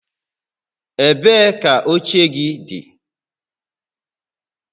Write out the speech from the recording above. Ebee ka oche gị dị?